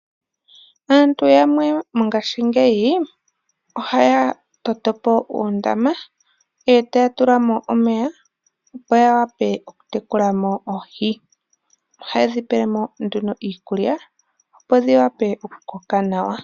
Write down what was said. Aantu yamwe mongashingeyi ohaya totopo uundama e taya tulamo omeya opo yawape oku tekulamo oohi. Ohayedhi pelemo nduno iikulya opo dhiwape oku koka nawa.